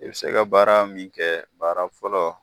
I bɛ se ka baara min kɛ baara fɔlɔ.